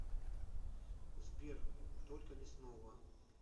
сбер только не снова